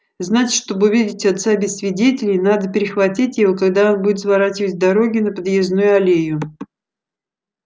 значит чтобы увидеть отца без свидетелей надо перехватить его когда он будет сворачивать с дороги на подъездную аллею